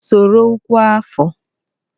Soro ọkwa afọ!